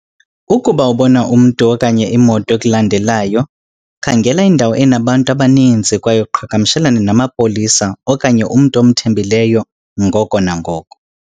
Ukuba ubona umntu okanye imoto ekulandelayo, khangela indawo enabantu abaninzi kwaye uqhagamshelane namapolisa okanye umntu omthembileyo ngoko nangoko.